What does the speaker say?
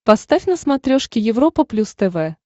поставь на смотрешке европа плюс тв